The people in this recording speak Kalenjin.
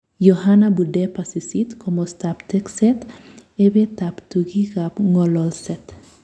Yohana Budeba 8. Komastap Tekset, Ipet ap tukik ak ng'ololset